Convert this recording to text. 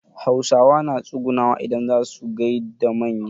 Hausawa na tsugunawa idan zaa su gaida manya.